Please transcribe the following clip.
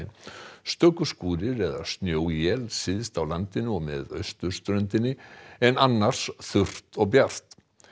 stöku skúrir eða syðst á landinu og með austurströndinni en annars þurrt og bjart